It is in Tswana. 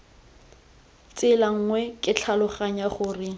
tsela nngwe ke tlhaloganya gore